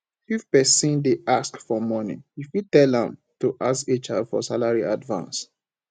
if di person dey ask for money you fit tell am to ask hr for salary advance